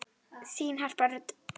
Þín Harpa Rut.